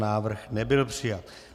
Návrh nebyl přijat.